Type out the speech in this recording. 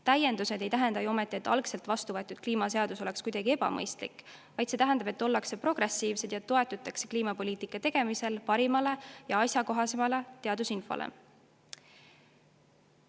Täiendused ei tähenda ju ometi, et vastuvõetud kliimaseadus oleks olnud kuidagi ebamõistlik, vaid see tähendab, et ollakse progressiivsed ja kliimapoliitika tegemisel toetutakse parimale ja asjakohasele teadusinfole.